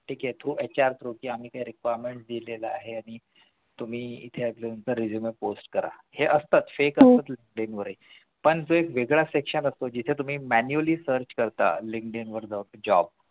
ठीक आहे कि HRthrough आम्ही काही requirements दिलेलं आहे आणि तुम्ही इथे तुमचा resume post करा हे असतात fake असतात पण एक वेगळं section असतो जिथे तुम्ही manually search करता Linkdin वरती जावून job